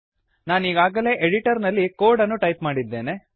ನಾನೀಗಾಗಲೇ editor ನಲ್ಲಿ code ಅನ್ನು type ಮಾಡಿದ್ದೇನೆ